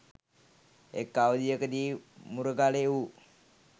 එක් අවධියකදී මුරගලේ වු